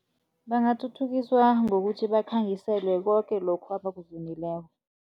Bangathuthukiswa ngokuthi bakhangiselwe koke lokho abakuvunileko.